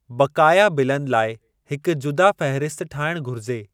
बक़ाया बिलनि लाइ हिक जुदा फ़हिरिस्त ठाहिणु घुरिजे।